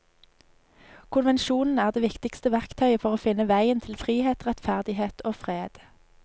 Konvensjonen er det viktigste verktøyet for å finne veien til frihet, rettferdighet og fred.